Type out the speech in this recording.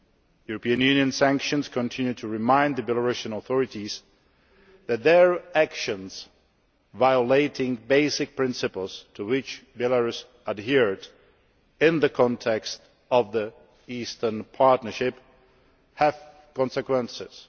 European Union sanctions continue to remind the Belarusian authorities that their actions violating basic principles to which Belarus adhered in the context of the Eastern Partnership have consequences.